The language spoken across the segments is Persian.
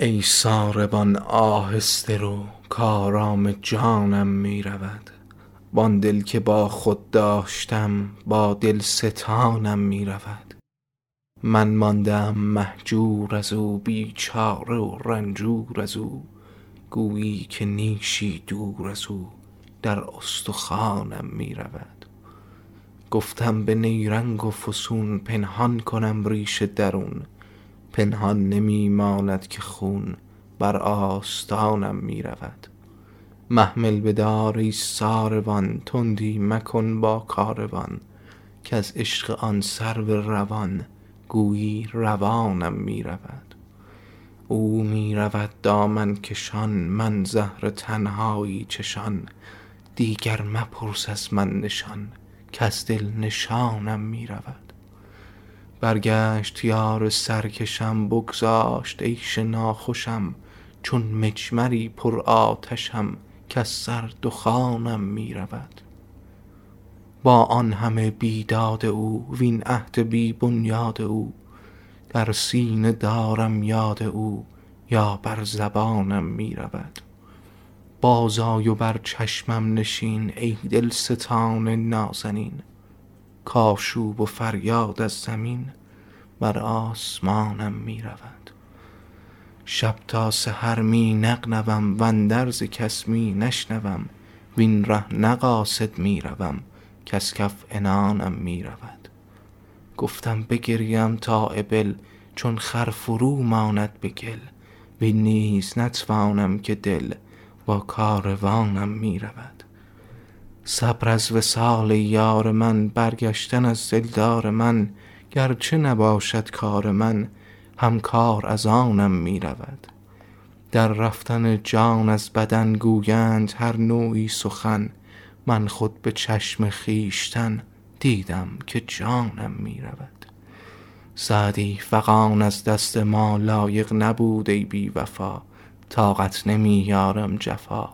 ای ساربان آهسته رو کآرام جانم می رود وآن دل که با خود داشتم با دل ستانم می رود من مانده ام مهجور از او بیچاره و رنجور از او گویی که نیشی دور از او در استخوانم می رود گفتم به نیرنگ و فسون پنهان کنم ریش درون پنهان نمی ماند که خون بر آستانم می رود محمل بدار ای ساروان تندی مکن با کاروان کز عشق آن سرو روان گویی روانم می رود او می رود دامن کشان من زهر تنهایی چشان دیگر مپرس از من نشان کز دل نشانم می رود برگشت یار سرکشم بگذاشت عیش ناخوشم چون مجمری پرآتشم کز سر دخانم می رود با آن همه بیداد او وین عهد بی بنیاد او در سینه دارم یاد او یا بر زبانم می رود بازآی و بر چشمم نشین ای دلستان نازنین کآشوب و فریاد از زمین بر آسمانم می رود شب تا سحر می نغنوم واندرز کس می نشنوم وین ره نه قاصد می روم کز کف عنانم می رود گفتم بگریم تا ابل چون خر فرو ماند به گل وین نیز نتوانم که دل با کاروانم می رود صبر از وصال یار من برگشتن از دلدار من گر چه نباشد کار من هم کار از آنم می رود در رفتن جان از بدن گویند هر نوعی سخن من خود به چشم خویشتن دیدم که جانم می رود سعدی فغان از دست ما, لایق نبود ای بی وفا طاقت نمی آرم جفا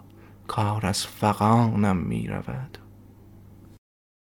کار از فغانم می رود